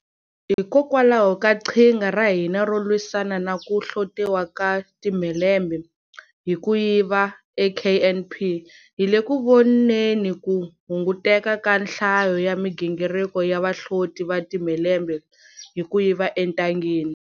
Hikokwalaho ka qhinga ra hina ro lwisana na ku hlotiwa ka timhelembe hi ku yiva eKNP, hi le ku voneni ku hunguteka ka nhlayo ya migingiriko ya vahloti va ti mhelembe hi ku yiva entangeni